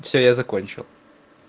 все я закончил